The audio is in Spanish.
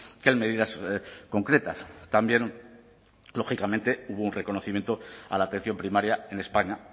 que en medidas concretas también lógicamente hubo un reconocimiento a la atención primaria en españa